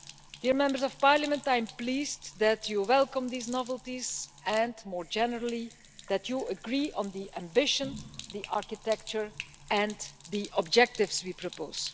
Dear Members of Parliament, I am pleased that you welcome these novelties and, more generally, that you agree on the ambition, the architecture and the objectives we propose.